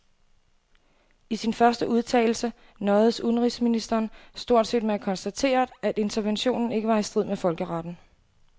I sin første udtalelse nøjedes udenrigsministeren stort set med at konstatere, at interventionen ikke var i strid med folkeretten.